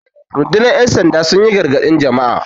rundunar yansanda sun yi gargadi Jama'a